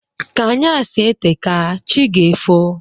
Ka anyasị eteka, chi ga-efo